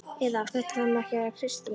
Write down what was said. Eða: Þetta þarf nú ekki að vera Kristín